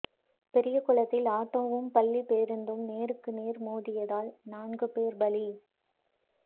பெரியகுளத்தில் ஆட்டோவும் பள்ளி பேருந்தும் நேருக்கு நேர் மோதல் நான்கு பேர் பலி